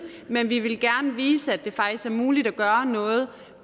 men vi vil gerne vise at det faktisk er muligt at gøre noget